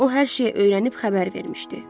O hər şeyi öyrənib xəbər vermişdi.